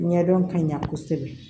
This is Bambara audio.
Ɲɛdɔn ka ɲa kosɛbɛ